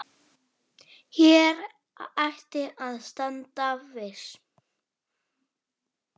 Enda get ég ekki farið.